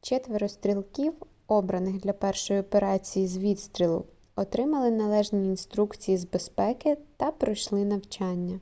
четверо стрілків обраних для першої операції з відстрілу отримали належні інструкції з безпеки та пройшли навчання